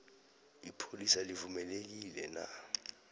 ipholisa livumelekile na